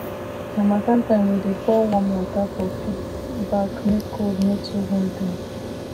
harmattan time we dey pour warm water for pig back make cold no too hold dem